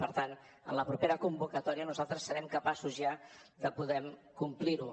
per tant en la propera convocatòria nosaltres serem capaços ja de poder complir ho